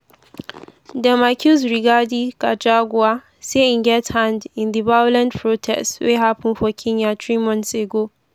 dem accuse rigathi gachagua say e get hand in di violent protests wey happun for kenya three months ago.